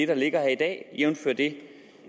det ligger her i dag jævnfør det